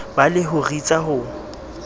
ba le ho ritsa ho